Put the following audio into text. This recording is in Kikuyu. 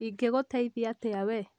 ingĩgũteithia atia we?